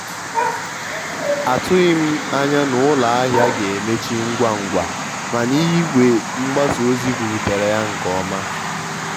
mgbe nsogbu okporo ụzọ mere igwe mgbasa ozi nyere m aka ịchọta ụzọ ọzọ ụzọ ọzọ nji ga-ala ụlọ.